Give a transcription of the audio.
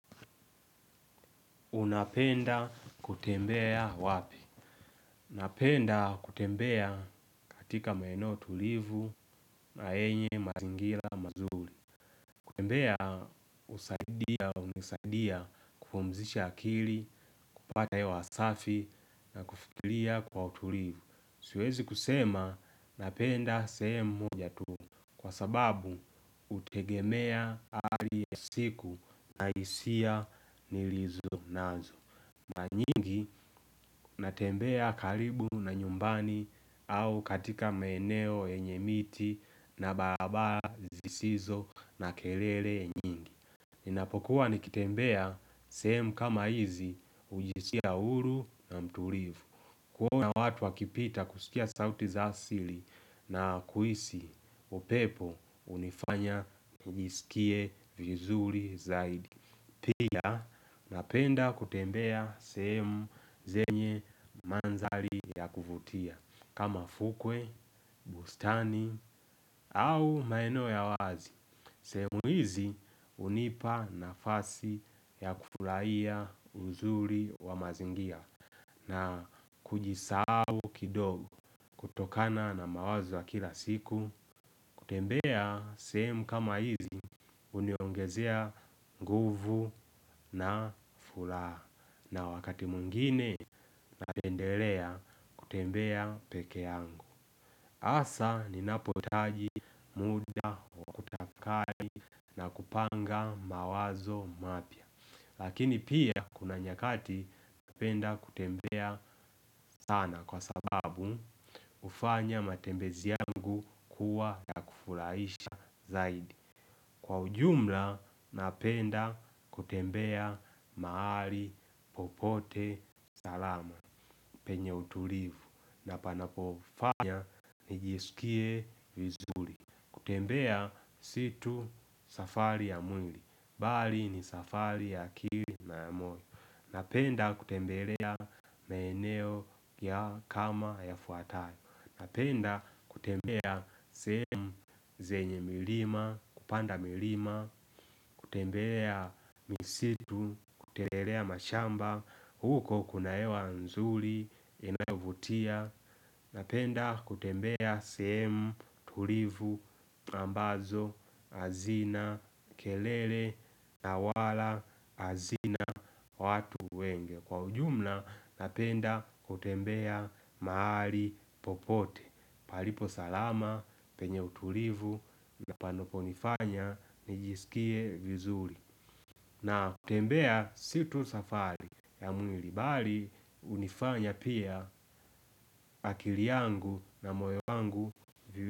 Unapenda kutembea wapi? Napenda kutembea katika maeneo tulivu na yenye mazingira mazuri. Tembea husaidia, hunisaidia kupumzisha akili, kupata hewa safi na kufikiria kwa utulivu. Siwezi kusema napenda sehemu moja tu kwa sababu hutegemea hali ya siku na hisia nilizo nazo. Mara nyingi, natembea karibu na nyumbani au katika maeneo yenye miti na barabara zisizo na kelele nyingi. Ninapokuwa nikitembea sehemu kama hizi hujisikia huru na mtulivu. Kuona watu wakipita kusikia sauti za asili na kuhisi upepo hunifanya nijisikie vizuri zaidi. Pia napenda kutembea sehemu zenye mandhari ya kuvutia. Kama fukwe, bustani au maeneo ya wazi. Sehemu hizi hunipa nafasi ya kufurahiya uzuri wa mazingira na kujisahau kidogo kutokana na mawazo ya kila siku. Kutembea sehemu kama hizi huniongezea nguvu na furaha na wakati mwingine napendelea kutembea peke yangu hasa ninapohitaji muda wa kutafakari na kupanga mawazo mapya. Lakini pia kuna nyakati napenda kutembea sana kwa sababu hufanya matembezi yangu kuwa ya kufurahisha zaidi. Kwa ujumla napenda kutembea mahali popote salama. Penye utulivu na panapofanya nijiskie vizuri. Kutembea si tu safari ya mwili. Bali ni safari ya akili na ya moyo. Napenda kutembelea maeneo ya kama yafuatayo. Napenda kutembea sehemu zenye milima, kupanda milima. Kutembea misitu, kutembelea mashamba. Huko kuna hewa nzuri, inayovutia. Napenda kutembea sehemu, tulivu, ambazo, hazina, kelele, na wala, hazina, watu wengi. Kwa ujumla napenda kutembea mahali popote. Palipo salama penye utulivu na panoponifanya nijisikie vizuri. Na kutembea si tu safari ya mwili bali hunifanya pia akili yangu na moyo wangu.